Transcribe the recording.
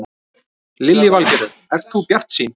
Lillý Valgerður: Ert þú bjartsýn?